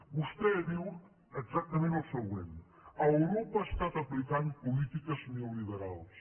vostè diu exactament el següent europa ha estat aplicant polítiques neoliberals